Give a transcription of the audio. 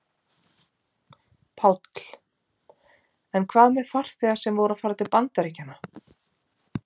Páll: En hvað með farþega sem voru að fara til Bandaríkjanna?